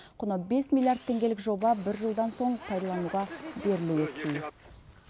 құны бес миллиард теңгелік жоба бір жылдан соң пайдалануға берілуі тиіс